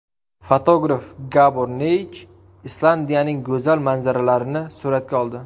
Fotograf Gabor Neyj Islandiyaning go‘zal manzaralarini suratga oldi.